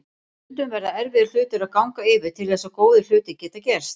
Stundum verða erfiðir hlutir að ganga yfir til þess að góðir hlutir geti gerst.